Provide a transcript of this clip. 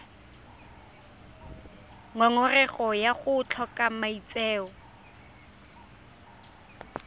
ngongorego ya go tlhoka maitseo